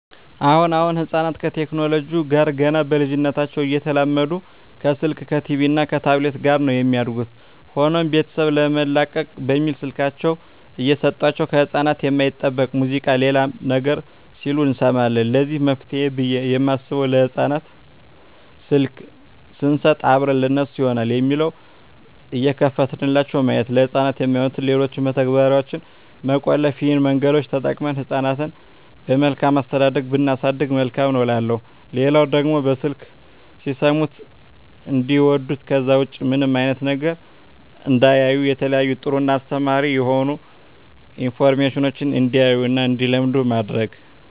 አሁን አሁን ህጻናት ከቴክኖለጂው ጋር ገና በልጂነታቸው እየተላመዱ ከስልክ ከቲቪ እና ከታብሌት ጋር ነው የሚያድጉት። ሆኖም ቤተሰብ ለመላቀቅ በሚል ስልካቸውን እየሰጦቸው ከህጻናት የማይጠበቅ ሙዚቃ ሌላም ነገር ሲሉ እንሰማለን ለዚህ መፍትሄ ብየ የማስበው ለህጻናት ስልክ ሰንሰጥ አብረን ለነሱ ይሆናል የሚለውን እየከፈትንላቸው ማየት፤ ለህጻናት የማይሆኑትን ሌሎችን መተግበርያዋች መቆለፍ ይህን መንገዶች ተጠቅመን ህጻናትን በመልካም አስተዳደግ ብናሳድግ መልካም ነው እላለሁ። ሌላው ደግሞ በስልክ ሲሰሙት እንዲዋዱት ከዛ ውጭ ምንም አይነት ነገር እንዳያዩ የተለያዩ ጥሩ እና አስተማሪ የሆኑ አኒሜሽኖችን እንዲያዩ እና እንዲለምዱ ማድረግ።